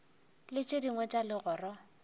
le tše dingwe tša legoro